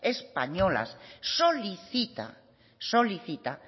españolas solicita solicita